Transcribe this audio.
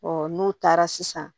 n'u taara sisan